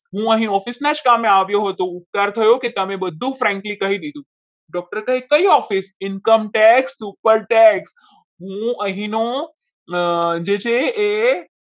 હું અહીં office ના કામે જ આવ્યો હતો. વિચાર થયો કે તમે બધું friendly કહી દીધું. doctor કહે કયું office Income Tax Super tax હું અહીંનો જે છે એ